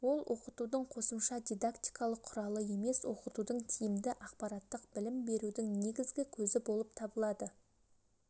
ол оқытудың қосымша дидактикалық құралы емес оқытудың тиімді ақпараттық-білім берудің негізгі көзі болып табылады